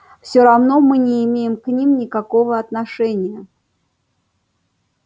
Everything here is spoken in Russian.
все равно мы не имеем к ним никакого отношения